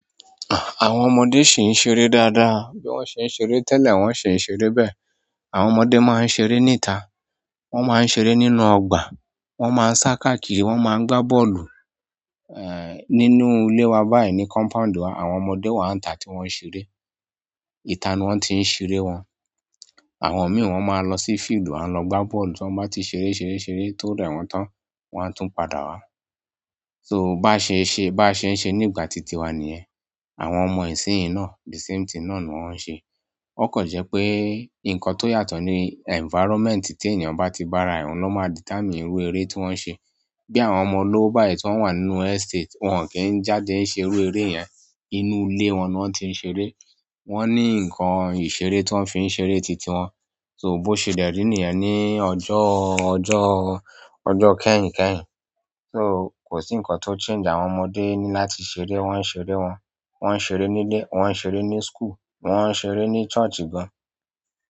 Àwọn ọmọdé ṣì ń ṣeré dáadáa, bí wọ́n ṣe ń ṣeré tẹ́lẹ̀, wọ́n ṣì ń ṣeré bẹ́ẹ̀. Àwọn ọmọdé máa ń ṣeré níta, wọ́n máa ń ṣeré nínú ọgbà, wọ́n máa ń sá kàkìrì, wọ́n máa ń gbá bọ́ọ̀lù. Ehn, nínúlé wa báyìí ní compound wa, àwọn ọmọdé wa ń ta tí wọ́n n ṣeré. Ìta ni wọ́n ti i ṣeré wọn. Àwọn mii, won maa lo si field wan lo gba bọ́ọ̀lù tọ́n bá ti ṣere ṣere ṣere tó rẹ̀ wọ́n tán, wọ́n á tún padà wá. So bá ṣe ṣe, bá ṣe ń ṣe nígbà ti tiwa nìyẹn. Àwọn ọmọ ìsínyín náà the same thing náà ni wọ́n ń ṣe. Ó kàn jẹ́ pé nǹkan tó yàtọ̀ ní environment teeyàn bá ti bára ẹ́, òun ló máa determine irú eré tí wọ́n ń ṣe. Bí àwọn ọmọ olówó báyìí tí wọ́n wà nínú estate, wọ́n kì n jáde ṣerú eré yẹn. Inú ilé wọn ni wọ́n ti i ṣeré. Wọ́n ní nǹkan ìṣeré tí wọ́n fi ń ṣeré ti tiwọn. So, bó ṣe dẹ̀ rí niyẹn ní ọjọ́, ọjọ́, ọjọ́ kẹ́yìn kẹ́yìn. So kò sí nǹkan tó change àwọn ọmọdé ni láti ṣeré, wọ́n n ṣeré wọn. Wọ́n n ṣeré nílé, wọ́n n ṣeré ní school, wọ́n n ṣeré ní church gan.